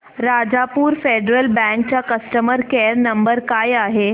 Rajapur Federal bank चा customer care number काय आहे